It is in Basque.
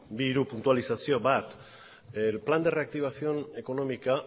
bi hiru puntualizazio bat el plan de reactivación económica